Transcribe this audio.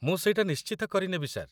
ମୁଁ ସେଇଟା ନିଶ୍ଚିତ କରିନେବି, ସାର୍ ।